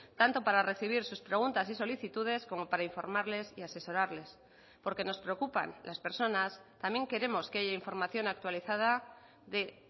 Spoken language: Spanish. tanto para recibir sus preguntas y solicitudes como para informarles y asesorarles porque nos preocupan las personas también queremos que haya información actualizada de